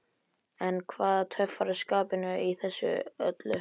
En hvað töffaraskapinn í þessu öllu saman?